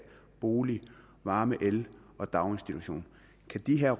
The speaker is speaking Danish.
bolig varme el og daginstitution kan de her